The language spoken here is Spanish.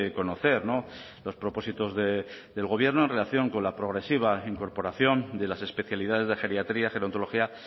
conocer los propósitos del gobierno en relación con la progresiva incorporación de las especialidades de geriatría gerontología